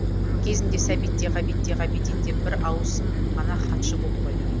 кезінде сәбит те ғабит те ғабиден де бір ауысым ғана хатшы болды ғой